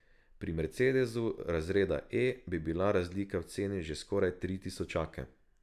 Pri mercedesu razreda E bi bila razlika v ceni že skoraj tri tisočake.